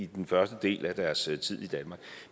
den første del af deres tid i danmark